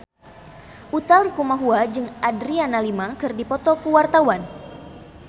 Utha Likumahua jeung Adriana Lima keur dipoto ku wartawan